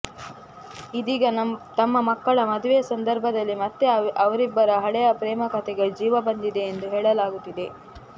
ಇದೀಗ ತಮ್ಮ ಮಕ್ಕಳ ಮದುವೆ ಸಂದರ್ಭದಲ್ಲಿ ಮತ್ತೆ ಅವರಿಬ್ಬರ ಹಳೆಯ ಪ್ರೇಮಕತೆ ಗೆ ಜೀವ ಬಂದಿದೆ ಎಂದು ಹೇಳಲಾಗುತ್ತಿದೆ